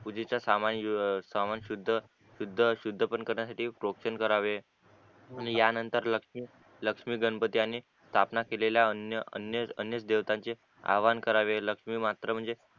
पूजेचे सामान सामान शुद्ध शुद्ध शुद्ध पण करण्यासाठी टॉक्सन करावे आणि या नंतर लक्ष्मी गणपती अनि स्थापना केलेल्या अन्य अन्य देवतांची आवाहन करावे लक्ष्मी मात्र म्हणजे